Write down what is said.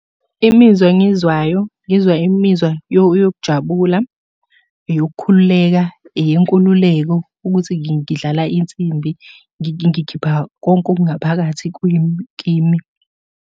Imizwa engiyizwayo, ngizwa imizwa yokujabula, eyokukhululeka, eyenkululeko ukuthi ngidlala insimbi, ngikhipha konke okungaphakathi, kwimi kimi.